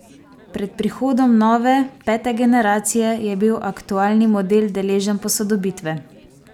Pred prihodom nove, pete generacije je bil aktualni model deležen posodobitve.